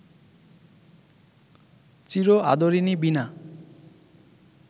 চির আদরিণী বীণা